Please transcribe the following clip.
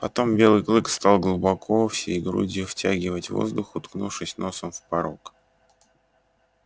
потом белый клык стал глубоко всей грудью втягивать воздух уткнувшись носом в порог